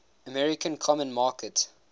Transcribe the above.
american common market